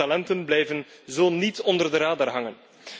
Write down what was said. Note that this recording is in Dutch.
Jonge talenten blijven zo niet onder de radar hangen.